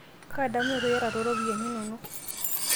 kaadamunoto iyata tooropiani inono?